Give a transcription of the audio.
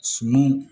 Sumanw